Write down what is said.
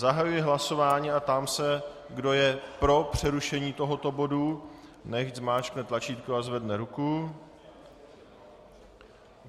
Zahajuji hlasování a ptám se, kdo je pro přerušení tohoto bodu, nechť zmáčkne tlačítko a zvedne ruku.